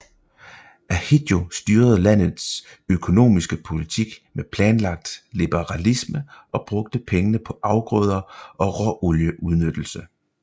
Ahidjo styrede landets økonomiske politik med planlagt liberalisme og brugte pengene på afgrøder og råolieudnyttelse